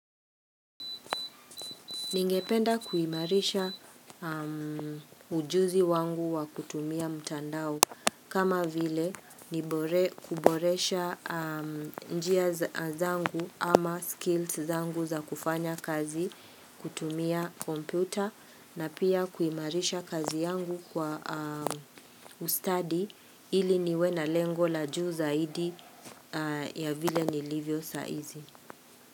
Ningependa kuimarisha ujuzi wangu wa kutumia mtandao kama vile ni kuboresha njia zangu ama skills zangu za kufanya kazi kutumia kompyuta na pia kuimarisha kazi yangu kwa ustadi ili niwe na lengo la juu zaidi ya vile ni livyo saizi.